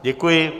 Děkuji.